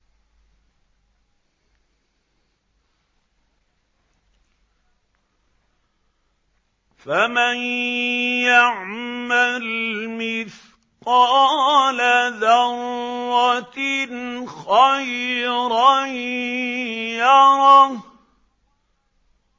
فَمَن يَعْمَلْ مِثْقَالَ ذَرَّةٍ خَيْرًا يَرَهُ